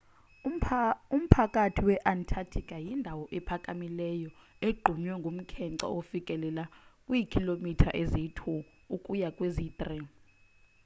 umphakathi we-antarctica yindawo ephakamileyo egqunywe ngumkhence ofikelela kwiikhilomitha eziyi-2 ukuya kweziyi-3